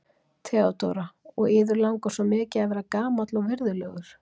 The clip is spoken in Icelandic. THEODÓRA: Og yður langar svo mikið að vera gamall og virðulegur.